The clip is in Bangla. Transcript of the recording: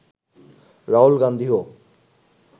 রাহুল গান্ধীও